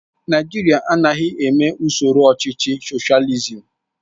Naijiria anaghị eme usoro ọchịchị soshializim